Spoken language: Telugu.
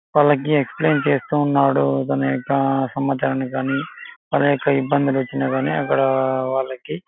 వాళ్ళకి ఎక్స్ప్లెయిన్ చేస్తున్నాడు. వాళ్ళ యొక్క ఇబ్బందులు వచ్చిన కానీ అక్కడ వాళ్ళకి--